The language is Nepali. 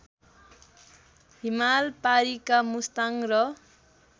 हिमालपारिका मुस्ताङ र